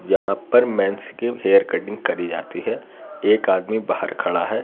यहां पर मेन्स की हेयर कटिंग करी जाती है एक आदमी बाहर खड़ा है।